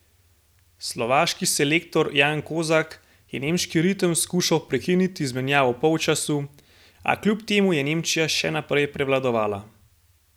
Slovaški selektor Jan Kozak je nemški ritem skušal prekiniti z menjavo ob polčasu, a kljub temu je Nemčija še naprej prevladovala.